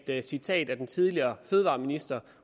citat af den tidligere fødevareminister